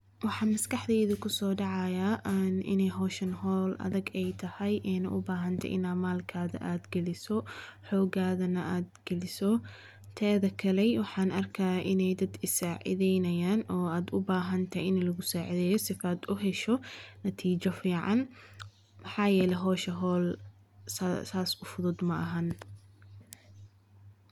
Waxaa maskaxdeyda ku soo dhacayaa aan inay howshan howl adag ay tahay ayna u baahantay inaan maalkaada aada geliso xoogaadana aada geliso teeda kaley waxaan arkaa inay dad i saacidaynayaan oo aada u baahan tahay in lagu saacideeyo sifaad u hesho natiijo fiican maxaa yeelay howsha howl saas u fudud maahan.